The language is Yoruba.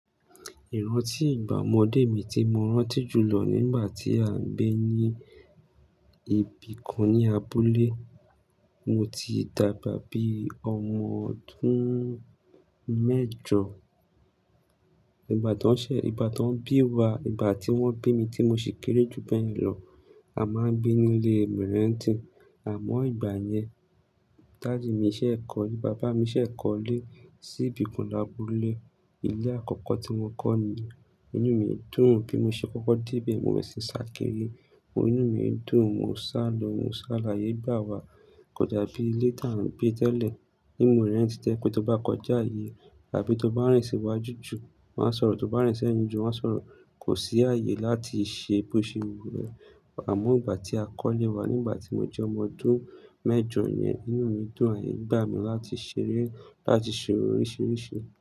Iranti igba omode mi ti mo ranti julọ nigba ti a gbe ni ibikan ni abule. Mo ti dagba bi ọmọ ọdun mẹjọ. Igba to n ṣe, igba to n bi wa, igba ti won bi mi ti mo si kere ju bẹyẹn lọ. A ma n gbe ni ile mìrentin. Amo igba yẹn, daddy mi ṣẹ ikọle, baba mi ṣẹ kọle si'bikan labule. Ile akọkọ ti wọn kọ niyen, inu mi dun bi mo ṣe kọ́kọ́ de ibẹ̀, mo berẹ̀ sí sakíri, inu mi dun, mo ń sálò, mo ń sálàyé igba wa. Kò dàbí ilé tàá ń gbé tẹ́lẹ̀ ní mìrèntì, tẹ́ pé tó bá kọjá ààyè e tàbí tó bá rìn sí wájú jù, wọ́n á sọ̀rọ̀, tó bá rìn sí ẹ̀yìn jù, wọ́n á sọ̀rọ̀. Kò sí ààyè láti ṣe boṣe wúé. Amó igba ti a kọ́lé wá, nígbà tí mo jẹ́ ọmọ ọdún mẹ́jọ yẹn, inú mi dùn, àyè gbà mí láti ṣeré, láti ṣe oríṣiríṣi.